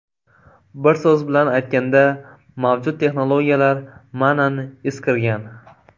Bir so‘z bilan aytganda, mavjud texnologiyalar ma’nan eskirgan.